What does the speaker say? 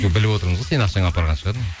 біліп отырмыз ғой сенің ақшаңа апарған шығар